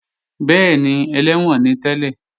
Bẹ́ẹ̀ni, ẹlẹ́wọ̀n ni tẹ́lẹ̀